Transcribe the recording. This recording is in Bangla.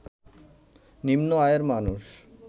নিম্ন আয়ের মানুষ